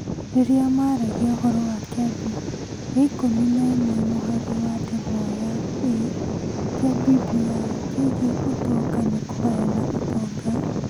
Rĩrĩa maaragia ũhoro wa Kĩambi gĩa ikũmi na ĩmwe mũhari wa ndemwa ya A kĩa BBI kĩgiĩ ũtonga na kũgayana ũtonga,